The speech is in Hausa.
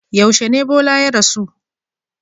Yaushe ne Bola ya rasu?